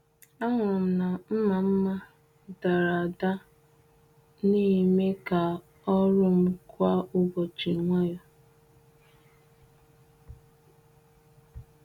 Ahụrụ m na mma mma dara ada na-eme ka ọrụ m kwa ụbọchị nwayọ.